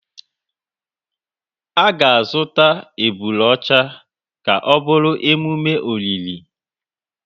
A ga-azụta ebule ọcha ka ọ bụrụ emume olili.